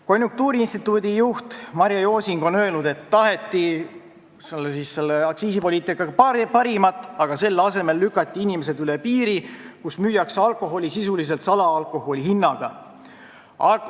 Konjunktuuriinstituudi juht Marje Josing on öelnud, et aktsiisipoliitikaga taheti parimat, aga selle asemel lükati inimesed üle piiri, kus müüakse alkoholi sisuliselt salaalkoholi hinnaga.